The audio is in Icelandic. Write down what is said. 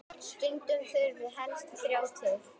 Stundum þurfi helst þrjá til.